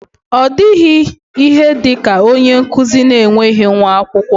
Ọ dịghị ihe dị ka onye nkụzi na-enweghị nwa akwụkwọ.